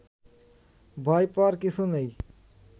ভয় পাওয়ার কিছু নেই